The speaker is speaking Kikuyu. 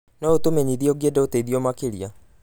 No ũtũmenyithie ũngĩenda ũteithio makĩria.